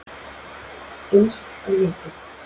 Eins á litin.